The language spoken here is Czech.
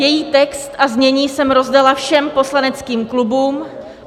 Její text a znění jsem rozdala všem poslaneckým klubům.